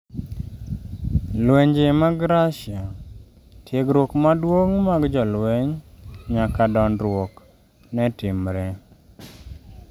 lwenje mag Russia: Tiegruok maduong' mag jolweny nyaka dondruok netimre